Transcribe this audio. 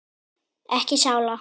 Ekki sála.